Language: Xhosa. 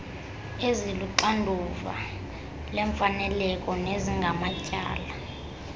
eziluxanduva lemfaneleko nezingamatyala